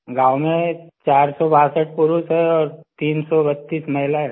गाँव में 462 पुरुष हैं और 332 महिला हैंसर